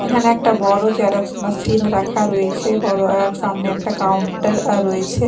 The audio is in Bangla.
এখানে একটা বড়ো জেরক্স মেশিন রাখা রয়েছে বড়ো আর সামনে একটা কাউন্টার আঃ রয়েছে।